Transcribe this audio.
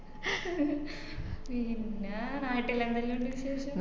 പിന്നാ നാട്ടിലെന്തെല്ലാണ്ട് വിശേഷം